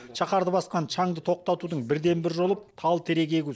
шаһарды басқан шаңды тоқтатудың бірден бір жолы тал терек егу